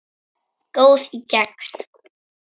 Góð í gegn.